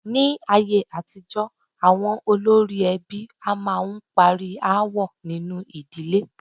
Ní ayé àtijọ́, àwọn olórí ẹbí a máà ń parí aáwọ̀ nínu ìdílé.